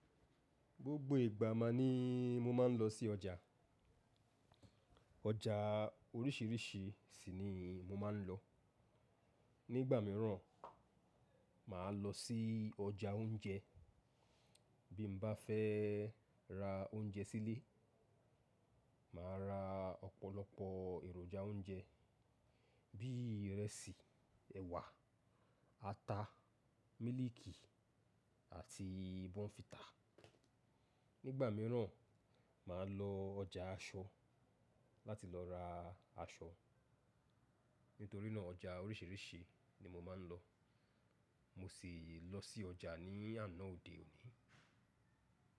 Gbogbo ìgbà ma ni mo máa ń lọ sí ọjà. Ọjà oríṣìíríṣìí ṣìní mo máa ń lọ. Nígbà mìíràn, màá lọ sí ọjà oúnjẹ bí n bá fẹ́ ra oúnjẹ sílé, màá ra ọ̀pọ̀lọpọ̀ èròjà oúnjẹ bí ìrẹsì, ẹ̀wà, ata, mílìkì àti bọ́nfítà. Nígbà mìíràn, màá lọ ọjà aṣọ láti lọ ra aṣọ. Nítorí náà ọjà oríṣìíríṣìí ni mo máa ń lọ. Mo sì lọ sí ọjà ní àná òde òní.